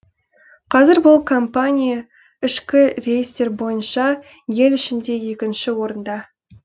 қазір бұл компания ішкі рейстер бойынша ел ішінде екінші орында